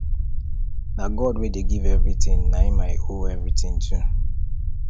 na god wey dey give everything na him i owe everything to